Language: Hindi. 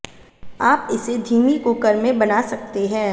आप इसे धीमी कुकर में बना सकते हैं